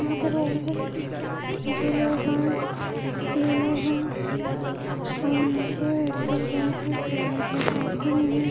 यहां पे रोड है दो लोग हैं ट्रेलर है और यहां पे बैठे हुए हैं।